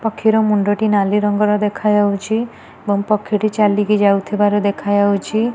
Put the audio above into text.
ପକ୍ଷୀର ମୁଣ୍ଡଟି ନାଲି ରଙ୍ଗର ଦେଖା ଯାଉଛି ଆଉ ପକ୍ଷୀଟି ଚାଲିକି ଯାଉଥିବାର ଦେଖା ଯାଉଚି।